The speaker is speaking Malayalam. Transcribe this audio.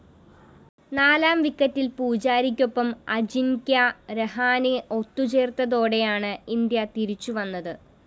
നാലാം വിക്കറ്റില്‍ പൂജാരക്കൊപ്പം അജിന്‍ക്യ രഹാനെ ഒത്തുചേര്‍ന്നതോടെയാണ് ഇന്ത്യ തിരിച്ചുവന്നത്